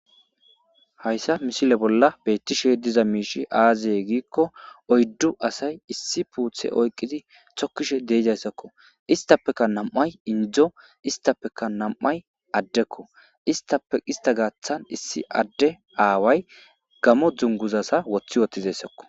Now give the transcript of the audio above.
Hayisa misile bola betishe diza mishshey aze gikko oyidu asayi issi miththi oyikid tokishe deizayisako issitappekka namayi Indo issippe namayi addekko isitappe issita giddoni awway Gamo duniguzaza woththi uttidayisakk